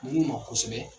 Mun ma kɔsɛbɛ